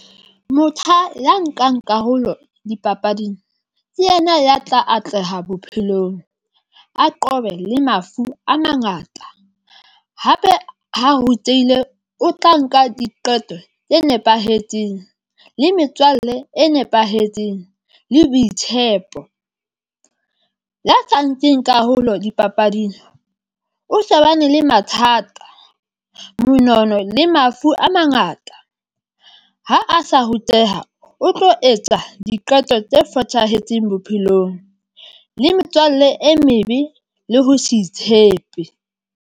Motjha ya nkang karolo dipapading ke yena, ya tla atleha bophelong, a qobe le mafu a mangata. Hape, ha rutehile o tla nka diqeto tse nepahetseng le metswalle e nepahetseng le boitshepo ya sa nkeng karolo dipapading o shebane le mathata, monono le mafu a mangata. Ha a sa ruteha, o tlo etsa diqeto tse fosahetseng bophelong le metswalle e mebe le ho se itshepe.